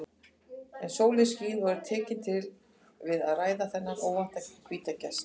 En sólin skín og er tekin til við að bræða þennan óvænta hvíta gest.